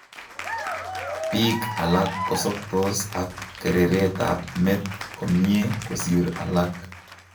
Biik alak kosobtos ak kereret ab met komyee kosir alak